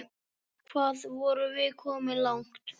Hvað vorum við komin langt?